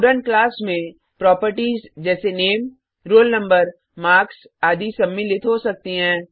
student class में properties जैसे नामे रोल नंबर मार्क्स आदि सम्मिलित हो सकती हैं